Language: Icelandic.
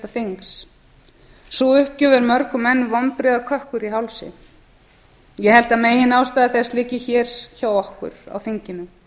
þings sú uppgjöf er mörgum enn vonbrigðakökkur í hálsi ég held að meginástæða þess liggi hér hjá okkur á þinginu